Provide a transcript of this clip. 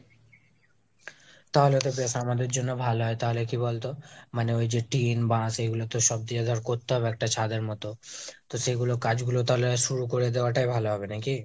তাহলে তো ব্যাস আমাদের জন্য ভালো হয়। তাহলে কী বলতো মানে ওই যে টিন, বাঁশ এইগুলো তো সব দিয়ে ধর করতে হবে একটা ছাদের মতো। তো সেগুলো কাজগুলো তাহলে শুরু করে দেওয়া টাই ভালো হবে নাকি ?